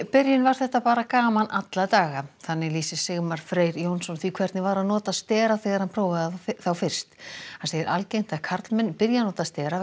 byrjun var þetta bara gaman alla daga þannig lýsir Sigmar Freyr Jónsson því hvernig var að nota stera þegar hann prófaði þá fyrst hann segir algengt að karlmenn byrji að nota stera